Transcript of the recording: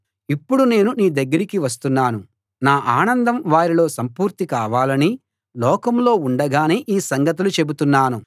ఇప్పుడు నేను నీ దగ్గరికి వస్తున్నాను నా ఆనందం వారిలో సంపూర్తి కావాలని లోకంలో ఉండగానే ఈ సంగతులు చెబుతున్నాను